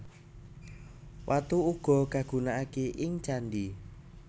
Watu uga kagunakaké ing candhi